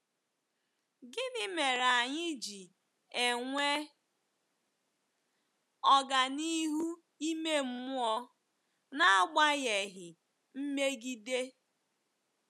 Gịnị mere anyị ji enwe ọganihu ime mmụọ n'agbanyeghị mmegide?